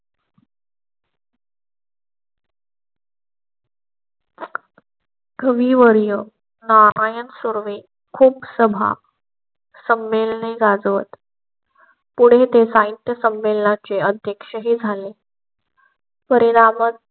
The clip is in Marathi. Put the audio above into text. कविवर्य नारायण सुर्वे खूप सभा संमेलने गाजवत पुढे ते साहित्य संमेलनाचे अध्यक्षही झाले. परिणामत